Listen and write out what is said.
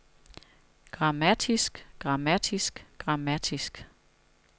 grammatisk grammatisk grammatisk